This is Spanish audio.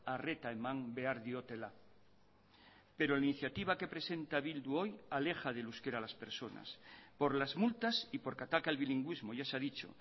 arreta eman behar diotela pero la iniciativa que presenta bildu hoy aleja del euskera a las personas por las multas y porque ataca el bilingüismo ya se ha dicho